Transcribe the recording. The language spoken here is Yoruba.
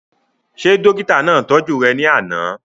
Ṣé dókítà náà tọ́jú rẹ̀ ní àná?